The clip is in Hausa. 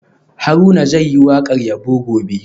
Haruna zai yi wakar yabo gobe